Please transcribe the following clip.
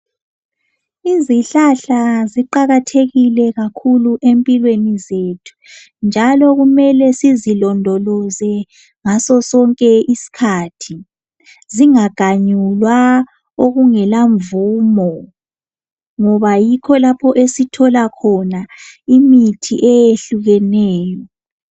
Izihlahla ziqakathekile kakhulu empilweni zethu, njalo kumele sizilondoloze ngaso sonke isikhathi, zingaganyulwa okungelamvumo, ngoba yikho lapho esithola khona imithi eyehlukeneyo.